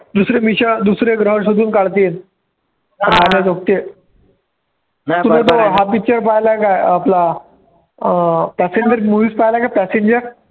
दुसरे mission दुसरे ग्रहावर शोधून काढतील तूने तो हा picture पहिला आहे का अं आपला अं passenger movie पाहिला आहे का passenger